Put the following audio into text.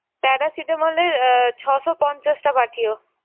paracetamol এর আহ ছয়শ পঞ্চাশটা পাঠিও।